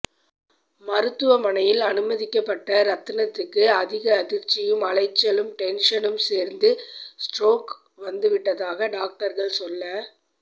மருத்துவமனையில் அனுமதிக்கப்பட்ட ரத்னத்துக்கு அதிக அதிர்ச்சியும் அலைச்சலும் டென்ஷனும் சேர்ந்து ஸ்ட்ரோக் வந்துவி்ட்டதாக டாக்டர்கள் செல்ல